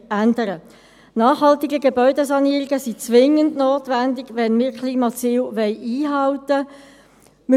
Nachhaltige Gebäudesanierungen sind zwingend notwendig, wenn wir die Klimaziele einhalten wollen.